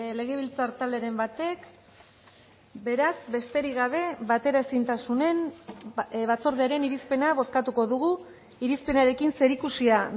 legebiltzar talderen batek beraz besterik gabe bateraezintasunen batzordearen irizpena bozkatuko dugu irizpenarekin zerikusia